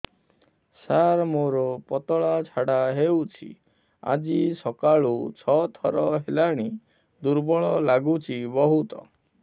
ସାର ମୋର ପତଳା ଝାଡା ହେଉଛି ଆଜି ସକାଳୁ ଛଅ ଥର ହେଲାଣି ଦୁର୍ବଳ ଲାଗୁଚି ବହୁତ